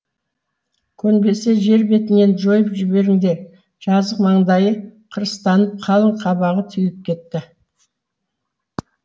көнбесе жер бетінен жойып жіберіңдер жазық маңдайы қырыстанып қалың қабағы түйіліп кетті